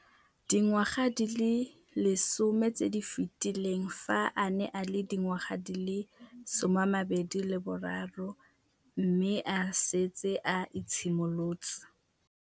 Dingwaga di le 10 tse di fetileng, fa a ne a le dingwaga di le 23 mme a setse a itshimoletse.